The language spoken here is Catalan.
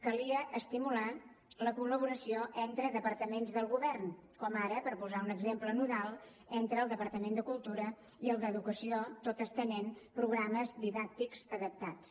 calia estimular la col·laboració entre departaments del govern com ara per posar un exemple nodal entre el departament de cultura i el d’educació tot estenent programes didàctics adaptats